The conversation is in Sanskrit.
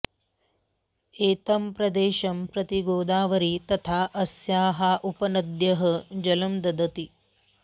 एतं प्रदेशं प्रति गोदावरी तथा अस्याः उपनद्यः जलं ददति